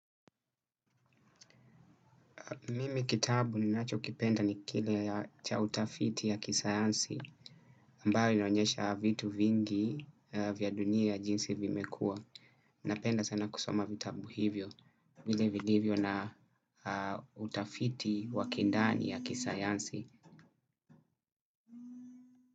Mimi kitabu ninacho kipenda ni kile cha utafiti ya kisayansi ambayo inonyesha vitu vingi vya dunia ya jinsi vimekua. Napenda sana kusoma vitabu hivyo vile vilivyo na utafiti waki ndani ya kisayansi.